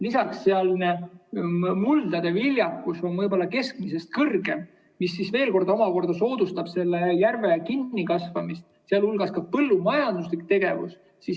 Lisaks on seal ümbruses muldade viljakus võib-olla keskmisest kõrgem, mis veel omakorda soodustab kinnikasvamist, muu hulgas teeb seda põllumajanduslik tegevus.